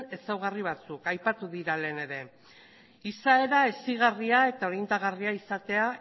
ezaugarri batzuk aipatu dira lehen ere izaera hezigarria eta orientagarria izatea